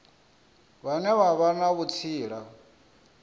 vhane vha vha na vhutsila